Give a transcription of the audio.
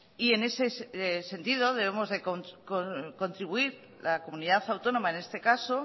y en ese sentido debemos de contribuir la comunidad autónoma en este caso